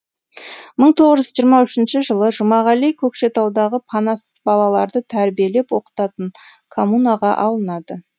мың тоғыз жүз жиырма үшінші жылы жұмағали көкшетаудағы панасыз балаларды тәрбиелеп оқытатын коммунаға алынады